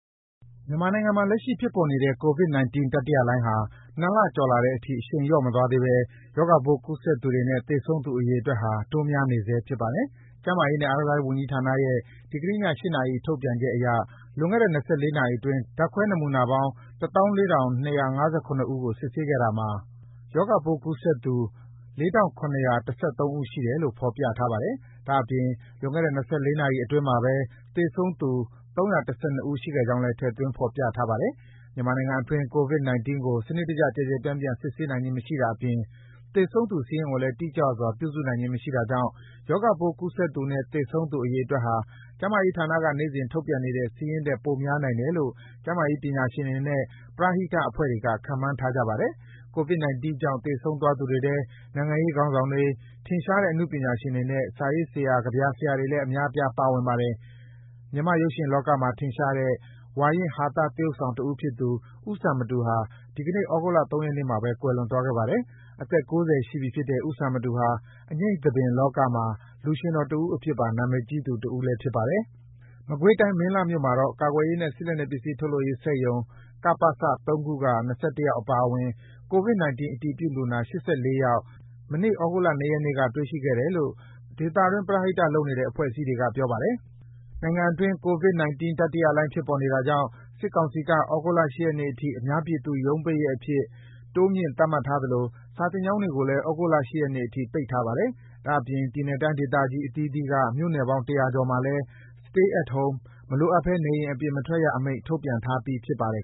မြန်မာနိုင်ငံမှာ လက်ရှိဖြစ်ပေါ်နေတဲ့ ကိုဗစ်-၁၉ တတိယလှိုင်းဟာ ၂ လကျော်လာတဲ့အထိ အရှိန်လျော့မသွားသေးဘဲ ရောဂါပိုး ကူးစက်သူတွေနဲ့သေဆုံးသူ အရေအတွက်ဟာ တိုးများနေဆဲဖြစ်ပါတယ်။ ကျန်းမာရေးနဲ့ အားကစားဝန်ကြီးဌာနရဲ့ ဒီကနေ့ည ၈ နာရီ ထုတ်ပြန်ချက်အရ လွန်ခဲ့တဲ့ ၂၄နာရီအတွင်း ဓါတ်ခွဲနမူနာပေါင်း ၁၄,၂၅၇ ဦးကို စစ်ဆေးခဲ့တာမှာ ရောဂါပိုးကူးစက်သူ၄,၇၁၃ ဦးရှိတယ်လို့ ဖော်ပြထားပါတယ်။ ဒါ့အပြင် လွန်ခဲ့တဲ့ ၂၄ နာရီအတွင်း သေဆုံးသူ ၃၁၂ ဦး ရှိခဲ့ကြောင်းလည်း ထည့်သွင်း ဖော်ပြထားပါတယ်။ မြန်မာနိုင်ငံအတွင်း ကိုဗစ်-၁၉ကို စံနစ်တကျ ကျယ်ကျယ်ပြန့်ပြန့် စစ်ဆေးနိုင်ခြင်းမရှိတာအပြင် သေဆုံးသူ စာရင်းကိုလည်း တိကျစွာ ပြုစုနိုင်ခြင်း မရှိတာတွေကြောင့် ရောဂါပိုး ကူးစက်သူနဲ့ သေဆုံးသူ အရေအတွက်ဟာ ကျန်းမာရေးဌာနက နေ့စဉ် ထုတ်ပြန်နေတဲ့ စာရင်းထက် ပိုများနိုင်တယ်လို့ ကျန်းမာရေးပညာရှင်တွေနဲ့ ပရဟိတအဖွဲ့တွေက ခန့်မှန်းထားကြပါတယ်။ ကိုဗစ်-၁၉ ကြောင့် သေဆုံးသွားသူတွေထဲ နိုင်ငံရေးခေါင်းဆောင်တွေ၊ ထင်ရှားတဲ့ အနုပညာရှင်တွေနဲ့ စာရေးဆရာ၊ ကဗျာဆရာတွေလည်း အများအပြား ပါဝင်ပါတယ်။ မြန်မာ့ရုပ်ရှင်လောကမှာ ထင်ရှားတဲ့ ဝါရင့် ဟာသသရုပ်ဆောင်တဦးဖြစ်သူ ဦးစံမတူဟာ ဒီကနေ့ သြဂုတ်လ ၃ ရက်နေ့မှာဘဲ ကွယ်လွန်သွားခဲ့ပါတယ်။ အသက် ၉၀ ရှိပြီဖြစ်တဲ့ ဦးစံမတူဟာ အငြိမ့်သဘင်လောကမှာ လူရွှင်တော်တဦးအဖြစ်ပါ နာမည်ကြီးသူတဦး ဖြစ်ပါတယ်။ မကွေးတိုင်း၊ မင်းလှမြို့နယ်မှာတော့ ကာကွယ်ရေးနဲ့စစ်လက်နက်ပစ္စည်းထုတ်လုပ်ရေးစက်ရုံ (ကပစ) ၃ ခုက ၂၁ ယောက်အပါအဝင် ကိုဗစ်-၁၉ အတည်ပြုလူနာ ၈၄ ယောက် မနေ့ သြဂုတ်လ ၂ ရက်နေံ တွေ့ရှိခဲ့တယ်လို့ ဒေသတွင်း ပရဟိတလုပ်နေတဲ့ အဖွဲ့အစည်းတွေက ပြောပါတယ်။ နိုင်ငံအတွင်း ကိုဗစ်-၁၉တတိယလှိုင်း ဖြစ်ပေါ်နေတာကြောင့် စစ်ကောင်စီက သြဂုတ်လ ၈ ရက်နေ့အထိအများပြည်သူ ရုံးပိတ်ရက်အထိ တိုးမြင့် သတ်မှတ်ထားသလို စာသင်ကျောင်းတွေကိုလည်း သြဂုတ်လ ၈ ရက်နေ့အထိပိတ်ထားပါတယ်။ ဒါ့အပြင် ပြည်နယ်၊ တိုင်းဒေသကြီး အသီးသီးက မြို့နယ်ပေါင်း ၁၀၀ ကျော်မှာလည်း Stay at home - မလိုအပ်ဘဲ နေအိမ်အပြင်မထွက်ရအမိန့် ထုတ်ပြန်ထားပြီး ဖြစ်ပါတယ်